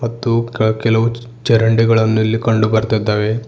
ಮತ್ತು ಕ ಕೆಲವು ಚರಂಡಿಗಳನ್ನು ಇಲ್ಲಿ ಕಂಡು ಬರ್ತಿದ್ದಾವೆ.